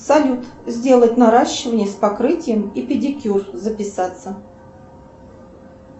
салют сделать наращивание с покрытием и педикюр записаться